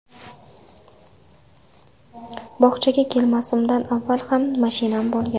Bog‘chaga kelmasimdan avval ham mashinam bo‘lgan.